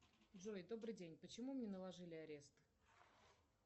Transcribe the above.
джой добрый день почему мне наложили арест